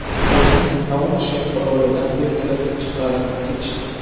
Uni Taunshend orolidan vertolyotda chiqarib ketishdi.